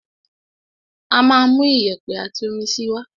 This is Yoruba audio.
Á máa mú iyẹ̀pẹ̀ àti omi síi wá.